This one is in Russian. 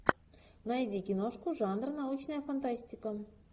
найди киношку жанр научная фантастика